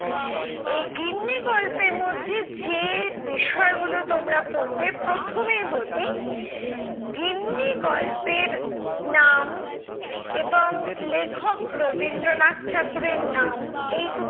এই গিন্নি গল্পের মধ্যে যে বিষয়গুলো তোমরা পড়বে প্রথমেই বলি, গিন্নি গল্পের নাম এবং লেখক রবীন্দ্রনাথ ঠাকুরের নাম এই দুটোর